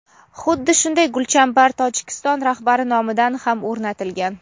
Xuddi shunday gulchambar Tojikiston rahbari nomidan ham o‘rnatilgan.